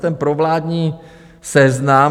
Ten provládní Seznam...